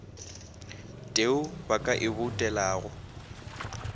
teo ba ka e boutelago